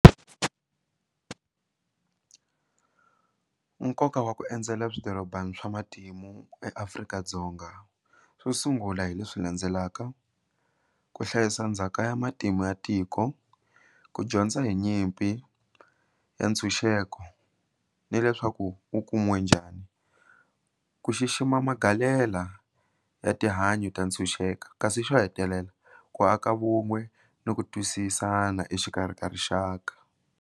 Nkoka wa ku endzela swidorobana swa matimu eAfrika-Dzonga swo sungula hi leswi landzelaka ku hlayisa ndzhaka ya matimu ya tiko, ku dyondza hi nyimpi ya ntshunxeko ni leswaku u kumiwe njhani, ku xixima magalela ya ya tihanyi ta ntshunxeka kasi xo hetelela ku aka vun'we ni ku twisisana exikarhi ka rixaka.